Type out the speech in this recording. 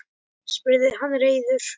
spurði hann reiður.